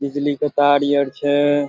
बिजली के तार यर छै।